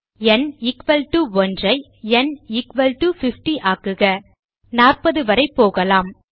ந் 1 ஐ ந் 50 ஆக்குக 40 வரை போகலாம்